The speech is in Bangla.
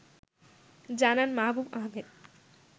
জানান মাহবুব আহমেদ